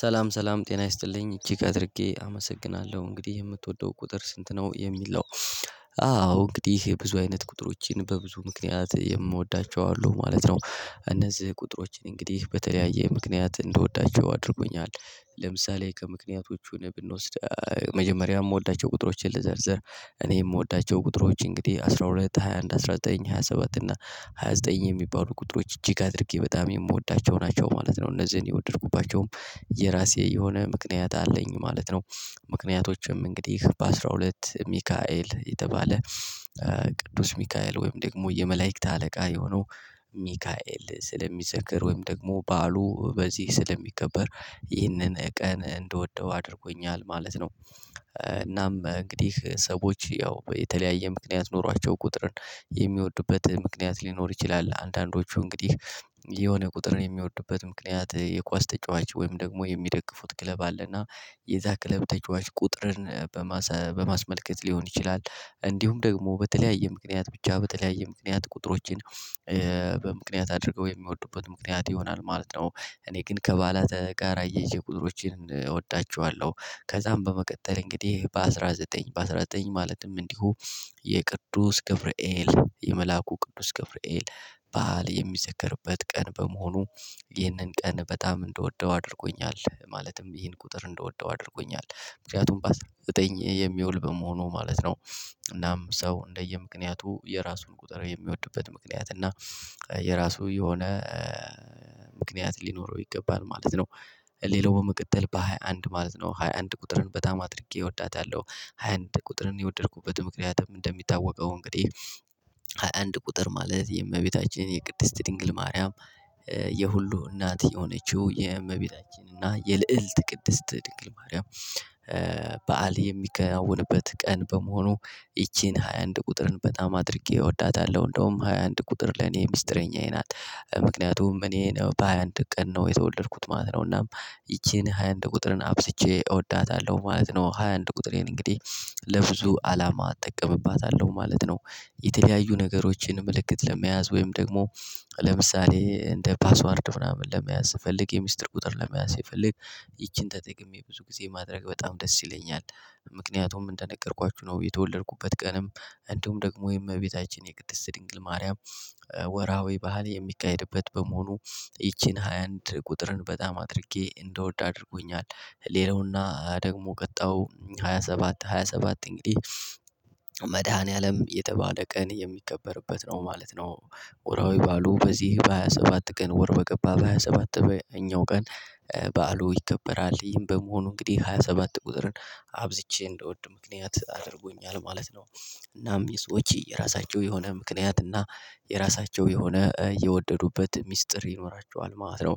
ሰላም ሰላም ጤና ይስጥልኝ እጅግ አድርጌ አመሰግናለሁ እንግዲህ የምትወደው ቁጥር ስንት ነው የሚለው? አዎ እንግዲህ የብዙ አይነት ቁጥሮችን በብዙ ምክንያት የምወዳቸው አሉ ማለት ነው እነዚህ ቁጥሮችን እንግዲህ በተለያየ ምክንያት እንድወዳቸው አድርጎኛል። ለምሳሌ ከምክንያቶቹ ብንወስድ መጀመሪያ የምወዳቸው ቁጥሮችን ልዘርዘር እኔ የምወዳቸው ቁጥሮች እንግዲህ አስራ ሁለት ሃያ አንድ አስራ ዘጠኝ ሃያ ሰባት እና ሃያ ዘጠኝ የሚባሉ ቁጥሮች እጅግ አድርጌ በጣም የምወዳቸው ናቸው ማለት ነው። እነዚህን የወደድኩባቸውም የራሴ የሆነ ምክንያት አለኝ ማለት ነው። ምክንያቶችም እንግዲህ በአሥራ ሁለት ሚካኤል የተባለ ቅዱስ ሚካኤል ወይም ደግሞ የመላእክት አለቃ የሆነው ሚካኤል ስለሚዘክር ወይም ደግሞ በዓሉ በዚህ ስለሚከበር ይህንን ቀን እንደወደው አድርጎኛል ማለት ነው። እናም እንግዲህ ሰዎች ያው የተለያየ ምክንያት ኖሯቸው ቁጥርን የሚወድበት ምክንያት ሊኖር ይችላል፤ አንዳንዶቹ እንግዲህ የሆነ ቁጥርን የሚወዱበት ምክንያት የኳስ ተጫዋች ወይም ደግሞ የሚደግፉት ክለብ አለና የዛ ክለብ ተጫዋች ቁጥርን በማስመልከት ሊሆን ይችላል። እንዲሁም ደግሞ በተለያየ ምክንያት ብቻ በተለያየ ምክንያት ቁጥሮችን በምክንያት አድርገው የሚወዱበት ምክንያት ይሆናል ማለት ነው። እኔ ግን ከበዓላት ጋር አያየዠ ቁጥሮቼን እወዳቸዋለሁ። ከዛም በመቀጠል እንግዲህ በአሥራ ዘጠኝ በአሥራ ዘጠኝ ማለትም እንዲሁ የቅዱስ ገብርኤል የመላኩ ቅዱስ ገፍርኤል በዓል የሚዘከርበት ቀን በመሆኑ። ይህንን ቀን በጣም እንድወደው አድርጎኛል ማለትም ይህን ቁጥር እንደወደው አድርጎኛል ምክንያቱም በአስራ ዘጠኝ የሚውል በመሆኑ ማለት ነው። እናም ሰው እንደየምክንያቱ የራሱን ቁጥር የሚወድበት ምክንያት እና የራሱ የሆነ ምክንያት ሊኖረው ይገባል ማለት ነው። ሌላው በመቀጠል በሃያ አንድ ማለት ነው ሃያ አንድ ቁጥርን በጣም አድርጌ እወዳታለሁ። ሃያ አንድ ቁጥርን የወደድኩበት ምክንያትም እንደሚታወቀው እንግዲህ ሃያ አንድ ቁጥር ማለት የእመቤታችን የቅድስት ድንግል ማርያም የሁሉ እናት የሆነችው የእመቤታችን የልዕልት ቅድስት ድንግል ማርያም በዓል የሚከናወንበት ቀን በመሆኑ። ይቺን ሃያ አንድ ቁጥርን በጣም አድርጌ እወዳታለሁ እንደውም ሃያ አንድ ቁጥር ለኔ ሚስጥረኛዬ ናት ምክንያቱም እኔ ነው በሃያ አንድ ቀን ነው የተወለድኩት ማለት ነው። እናም ይቺን ሃያ አንድ ቁጥርን አብዠቼ እወዳታለሁ ማለት ነው። ሃያ አንድ ቁጥሬን እንግዲህ ለብዙ አላማ እጠቀምባታለሁ ማለት ነው። የተለያዩ ነገሮችን ምልክት ለመያዝ ወይም ደግሞ ለምሳሌ እንደ ፓስዋርድ ምናምን ለመያዝ ፈልግ የሚስጥር ቁጥር ለመያዝ ስፈልግ ይቺን ተጠቅሜ ብዙ ጊዜ ማድረግ በጣም ደስ ይለኛል። ምክንያቱም እንደነገርኳችሁ ነው የተወለድኩበት ቀንም እንዲሁም ደግሞ የእመቤታችን የቅድስት ድንግል ማርያም ወራዊ በዓል የሚካሄድበት በመሆኑ ይቺን ሃያ አንድ ቁጥርን በጣም አድርጌ እንድወድ አድርጎኛል። ሌላውና ደግሞ ቀጣው ሃያ ሰባት ሃያ ሰባት እንግዲህ መድኃኒዓለም የተባለ ቀን የሚከበርበት ነው ማለት ነው። ወራዊ በዓሉ በዚህ በሃያ ሰባት ቀን ወር በገባ በሃያ ሰባተኛው ቀን። በዓሉ ይከበራል ይህን በመሆኑ እንግዲህ ሃያ ሰባት ቁጥርን አብዝቼ እንድወድ ምክንያት አድርጎኛል ማለት ነው። እናም የሰዎች የራሳቸው የሆነ ምክንያት እና የራሳቸው የሆነ የወደዱበት ሚስጥር ይኖራቸዋል ማለት ነው።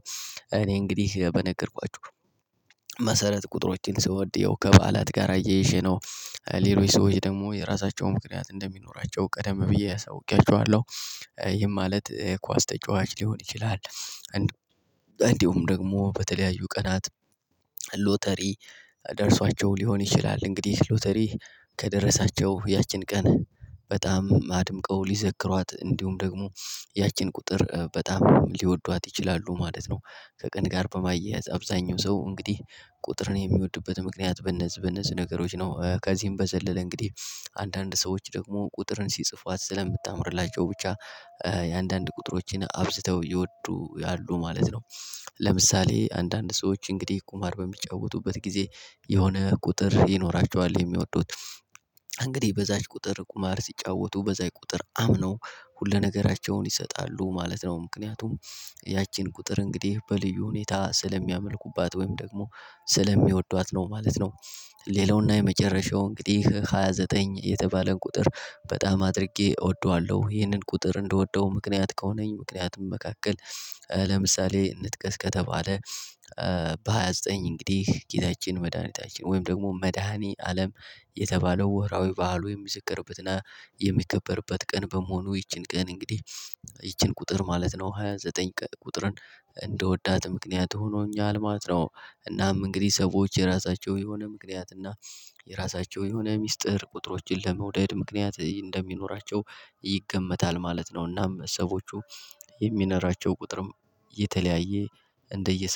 እኔ እንግዲህ በነገርኳችሁ መሰረት ቁጥሮችን ስወድ የው ከበዓላት ጋር አያይዠ ነው። ሌሎች ሰዎች ደግሞ የራሳቸውን ምክንያት እንደሚኖራቸው ቀደም ብዬ አሳውቄያቸዋለሁ። ይሄ ማለት ኳስ ተጫዋች ሊሆን ይችላል። እንዲሁ እንዲሁም ደግሞ በተለያዩ ቀናት ሎተሪ ደርሷቸው ሊሆን ይችላል እንግዲህ ሎተሪ ከደረሳቸው ያችን ቀን በጣም አድምቀው ሊዘክሯት እንዲሁም ደግሞ ያችን ቁጥር በጣም ሊወዷት ይችላሉ ማለት ነው። ከቀን ጋር በማያያዝ አብዛኛው ሰው እንግዲህ ቁጥርን የሚወድበት ምክንያት በነዚህ በነዚህ ነገሮች ነው። ከዚህም በዘለለ እንግዲህ አንዳንድ ሰዎች ደግሞ ቁጥርን ሲጽፏት ስለምታምርላቸው ብቻ የአንዳንድ ቁጥሮችን አብዝተው እየወዱ ያሉ ማለት ነው። ለምሳሌ አንዳንድ ሰዎች እንግዲህ ቁማር በሚጫወቱበት ጊዜ የሆነ ቁጥር ይኖራቸዋል የሚወዱት እንግዲህ በዛች ቁጥር ቁማር ሲጫወቱ በዛይ ቁጥር አምነው ሁለነገራቸውን ይሰጣሉ ማለት ነው። ምክንያቱም ያቺን ቁጥር እንግዲህ በልዩ ሁኔታ ስለሚያመልኩባት ወይም ደግሞ ስለሚወዷት ነው ማለት ነው። ሌላውና የመጨረሻው እንግዲህ ሃያ ዘጠኝ የተባለውን ቁጥር በጣም አድርጌ እወደዋለሁ ይህንን ቁጥር እንደወደው ምክንያት ከሆነኝ ምክንያትም መካከል ለምሳሌ እንጥቀስ ከተባለ በሃያ ዘጠኝ እንግዲህ ጌታችን መድኃኒታችን ወይም ደግሞ መድኃኒ አለም የተባለው ወራዊ በዓሉ የሚዘከርበትና የሚከበርበት ቀን በመሆኑ ይቺን ቀን እንግዲህ ይቺን ቁጥር ማለት ነው ሃያ ዘጠኝ ቀን ቁጥርን እንደወዳት ምክንያት ሆኖኛል ማለት ነው። እናም እንግዲህ ሰዎች የራሳቸው የሆነ ምክንያት እና የራሳቸው የሆነ ሚስጥር ቁጥሮችን ለመውደድ ምክንያት እንደሚኖራቸው ይገመታል። ማለት ነውና ሰዎቹ የሚኖራቸው ቁጥርም የተለያየ እንደየ